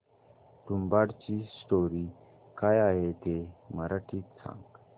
तुंबाडची स्टोरी काय आहे ते मराठीत सांग